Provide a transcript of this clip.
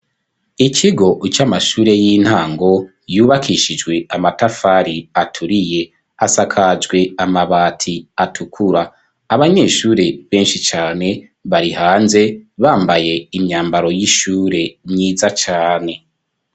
Ikigo c'amashure y'intango yubakishijwe amatafari aturiye. Asakajwe amabati atukura. Abanyeshure benshi cane bari hanze, bambaye imyambaro y'ishure myiza cane.